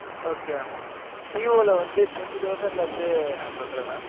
okay mam Vivo ல வந்து, twenty thousand ல இருந்து, நான் சொல்றன் mam.